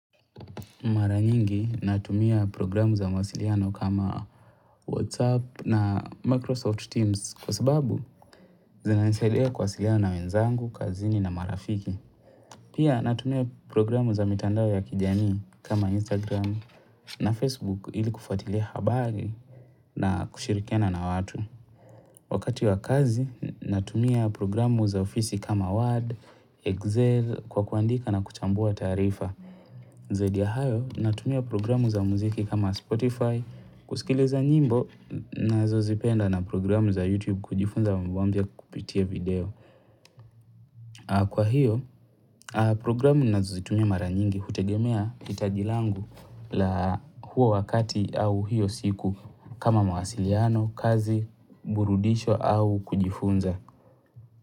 Mara nyingi natumia programu za mwasiliano kama WhatsApp na Microsoft Teams kwa sababu, zinanisaidia kwasiliana na wenzangu, kazini na marafiki. Pia natumia programu za mitandao ya kijamii kama Instagram na Facebook ili kufuatilia habari na kushirikiana na watu. Wakati wa kazi natumia programu za ofisi kama Word, Excel kwa kuandika na kuchambua taarifa. Zaidi ya hayo, natumia programu za muziki kama Spotify, kusikiliza nyimbo nazozipenda na programu za YouTube kujifunza mbambia kupitia video. Kwa hiyo programu ninazozitumia mara nyingi hutegemea hitajilangu la huo wakati au hiyo siku kama mwasiliano, kazi, burudisho au kujifunza.